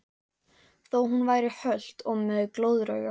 Þó hún væri hölt og með glóðarauga.